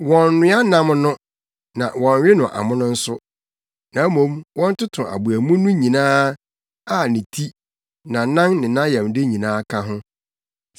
Wɔnnnoa nam no na wɔnnwe no amono nso, na mmom, wɔntoto aboa mu no nyinaa, a ne ti, nʼanan ne nʼayamde nyinaa ka ho.